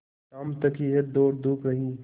शाम तक यह दौड़धूप रही